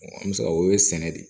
an bɛ se ka o ye sɛnɛ de ye